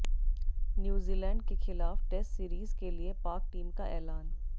New Zealand के खिलाफ test series के लिए पाक टीम का ऐलान